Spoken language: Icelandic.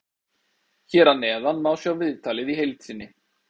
Hér að neðan má sjá viðtalið í heild sinni.